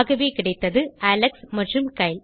ஆகவே கிடைத்தது அலெக்ஸ் மற்றும்Kyle